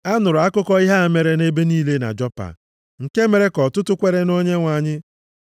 A nụrụ akụkọ ihe a mere nʼebe niile na Jopa, nke mere ka ọtụtụ kwere nʼOnyenwe anyị.